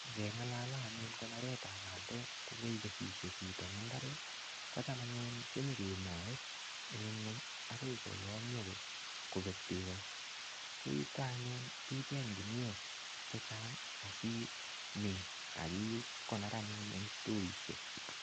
Ngeng'alale anyun konoretab pandek kokeikeshishe chito eng' imbaret kocham anyun konyikemoei eng' ing'weny akoi koyomyo kobek beko ko yuto anyun ichenye guniok chechang' asimin akokonor anyun eng' stoishek